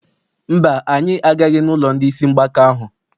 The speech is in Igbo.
Mba, anyị agaghị n'ụlọ ndị isi mgbaka ahụ.